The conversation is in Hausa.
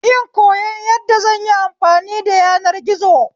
In koyon yadda zanyi amfani da yanar gizo